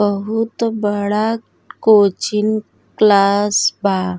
बहुत बड़ा coaching class बा।